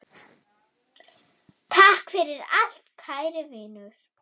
Takk fyrir allt, kæri vinur.